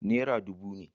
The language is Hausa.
Naira dubu ne.